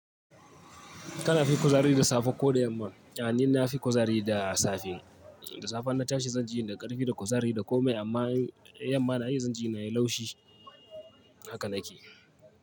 Tana fi kuzari da safe ko da yamma? A ni na fi kuzari da safe. Da safe ina tashi zanji ni da ƙarfi da kuzari da komai amma yamma na yi zanji ni nayi laushi. Haka na ke.